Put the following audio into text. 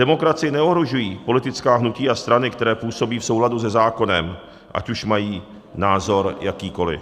Demokracii neohrožují politická hnutí a strany, které působí v souladu se zákonem, ať už mají názor jakýkoliv.